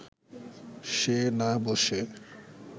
সে না বসে